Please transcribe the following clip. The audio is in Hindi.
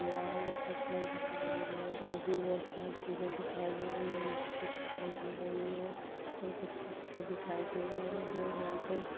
दे रहा है बहुत सारे पेड़ दिखाई दे रहे और भी बहुत सारी चिजे दिखाई दे रही मट्टी दिखाई दे रही है और कुछ पत्ते दिखाई दे रहे है यहा पे--